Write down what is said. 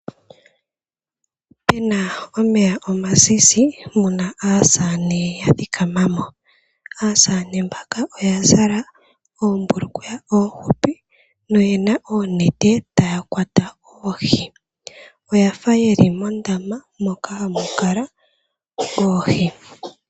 Opena omeya omazizi muna aasamane yathikamamo aasamane mbaka oya zala oombulukweya oohupi noyena oonete taya kwata oohi. Oyafa yeli mondama moka hamukala oohi.